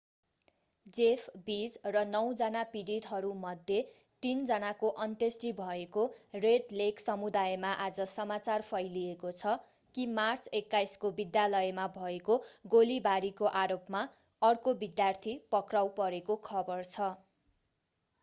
Jeff Weise र नौजना पीडितहरूमध्ये तीन जनाको अन्त्येष्टि भएको रेड लेक समुदायमा आज समाचार फैलिएको छ कि मार्च 21 को विद्यालयमा भएको गोलीबारी को आरोपमा अर्को विद्यार्थी पक्राउ परेको खबर छ